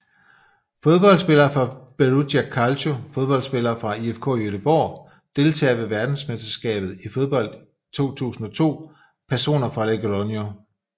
Fodboldspillere fra Perugia Calcio Fodboldspillere fra IFK Göteborg Deltagere ved verdensmesterskabet i fodbold 2002 Personer fra Logroño